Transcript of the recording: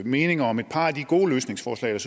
mening om et par af de gode løsningsforslag jeg